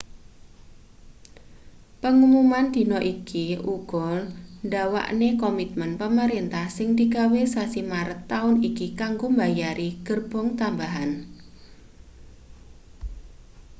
pengumuman dina iki uga ndawakne komitmen pemerintah sing digawe sasi maret taun iki kanggo mbayari gerbong tambahan